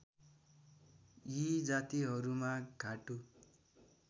यी जातिहरुमा घाटु